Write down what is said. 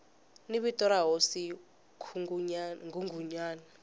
ni vito ra hosi nghunghunyana